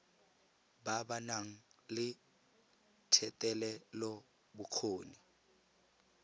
ba ba nang le thetelelobokgoni